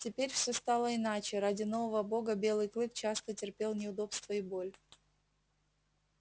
теперь всё стало иначе ради нового бога белый клык часто терпел неудобства и боль